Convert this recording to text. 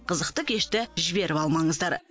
қызықты кешті жіберіп алмаңыздар